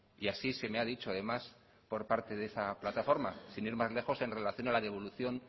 y así se me ha dicho además por parte de esa plataforma sin ir más lejos en relación a la devolución